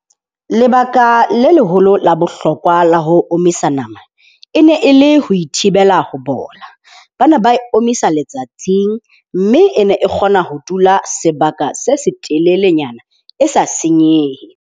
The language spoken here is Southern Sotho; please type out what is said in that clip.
Lebaka le leholo la bohlokwa la ho omisa nama e ne e le ho e thibela ho bola. Ba ne ba e omisa letsatsing mme e ne e kgona ho dula sebaka se se telelenyana e sa senyehe.